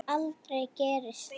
En aldrei gerist það.